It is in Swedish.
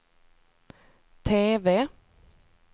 TV